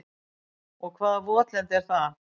Og hvaða votlendi er það?